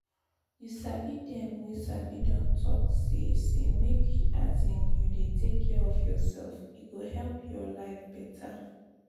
you sabi dem wey sabi don talk say say make um you dey take care of yourself e go help your life better.